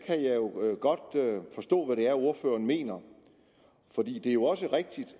godt forstå hvad det er ordføreren mener fordi det jo også er rigtigt